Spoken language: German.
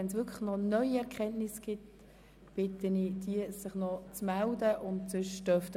Wenn es noch neue Erkenntnisse zu berichten gibt, bitte ich die Betreffenden, dies zu tun.